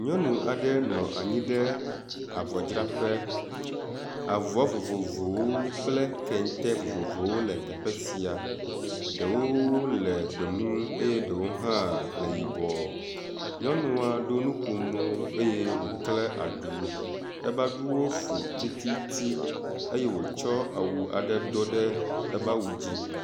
Nyɔnu aɖe nɔ anyi ɖe avɔdzraƒe. avɔ vovovowo kple kente vovovowo le afi sia. Ɖewo le gbemu eye ɖewo hã le yibɔ. Nyɔnua ɖo nukomo eye wokle aɖu. ebe aɖuwo fu tititi eye wotsɔ awu aɖe do ɖe ebe awu dzi.